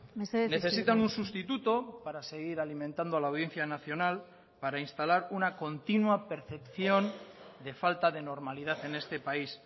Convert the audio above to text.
mesedez necesitan un sustituto para seguir alimentando a la audiencia nacional para instalar una continua percepción de falta de normalidad en este país